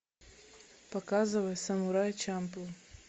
показывай самурай чамплу